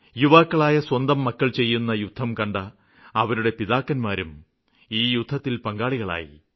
യുവാക്കളായ സ്വന്തം മക്കള് ചെയ്യുന്ന യുദ്ധം കണ്ട അവരുടെ പിതാക്കന്മാരും ഈ യുദ്ധത്തില് പങ്കാളികളായി